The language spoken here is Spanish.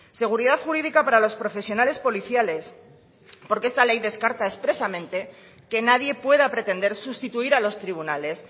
seguridad jurídica para los profesionales policiales porque esta ley descarta expresamente que nadie pueda pretender sustituir a los tribunales